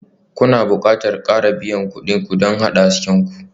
Kuna buƙatar fara biyan kuɗin ku don haɗa hasken ku.